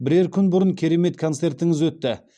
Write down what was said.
бірер күн бұрын керемет концертіңіз өтті